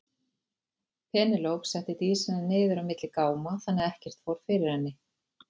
Penélope setti Dísina niður á milli gáma þannig að ekkert fór fyrir henni.